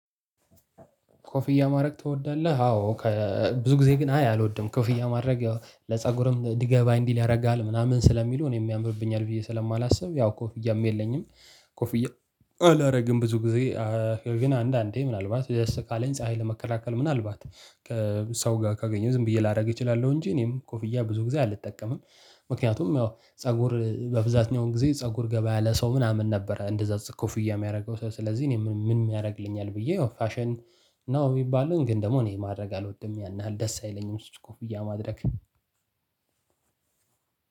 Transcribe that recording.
ኮፍያ ማድረግ ትወዳለህ? አዎ ብዙ ጊዜ ግን አይ አልወድም ኮፍያ ማድረግ ያው ለፀጉርም ዲገባ እንዲል ያደርጋል ምናምን ስለሚሉ እኔም ያምርብኛል ብዬ ስለማላስብ ያው ኮፍያም የለኝም። ኮፍያ አላደርግም ብዙ ጊዜ ነገር ግን አንዳንዴ ምናልባት ደስ ካለኝ ፀሀይ ለመከላከል ምናልባት ከሰው ጋር ካገኘው ዝም ብዬ ላደርግ እችላለሁ እንጂ እኔም ኮፍያ ብዙ ጊዜ አልጠቀምም። ምክንያቱም ያው ፀጉር በብዛተኛው ጊዜ ፀጉር ገባ ያለ ሰው ምናምን ነበር። እንደዛ ኮፍያ የሚያደርገው ሰው ስለዚህ እኔ ምን የሚያደርግልኛል ብዬ ያው ፋሽን ነው የሚባለው። ግን ደግሞ እኔ ማድረግ አልወድም ያን ያህል ደስ አይለኝም ስትል ኮፍያ ማድረግ።